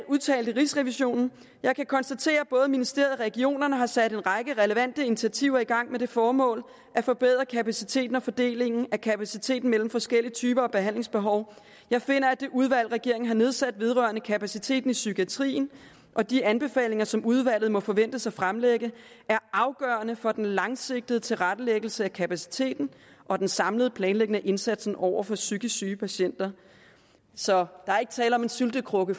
udtalte rigsrevisionen jeg kan konstatere at både ministeriet og regionerne har sat en række relevante initiativer i gang med det formål at forbedre kapaciteten og fordelingen af kapaciteten mellem forskellige typer af behandlingsbehov jeg finder at det udvalg regeringen har nedsat vedrørende kapaciteten i psykiatrien og de anbefalinger som udvalget må forventes at fremlægge er afgørende for den langsigtede tilrettelæggelse af kapaciteten og den samlede planlægning af indsatsen over for psykisk syge patienter så der er ikke tale om en syltekrukke